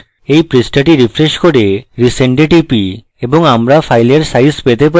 এই পৃষ্ঠাটি refresh করে resend we টিপি এবং আমরা file সাইজ পেতে পারি